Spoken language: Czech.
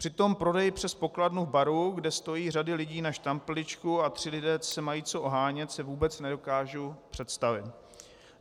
Přitom prodej přes pokladnu v baru, kde stojí řada lidí na štamprličku a tři lidé se mají co ohánět, si vůbec nedokážu představit.